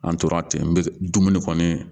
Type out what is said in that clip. An tora ten n bɛ dumuni kɔni